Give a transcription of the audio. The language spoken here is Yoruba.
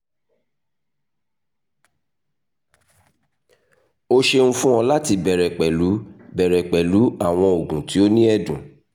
o ṣeun fun ọ lati bẹrẹ pẹlu bẹrẹ pẹlu awọn oogun ti o ni ẹdun